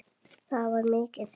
Það var mikið, sagði hann.